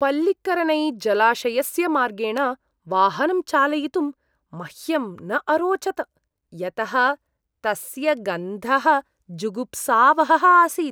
पल्लिकरनैजलाशयस्य मार्गेण वाहनं चालयितुं मह्यं न अरोचत, यतः तस्य गन्धः जुगुप्सावहः आसीत्।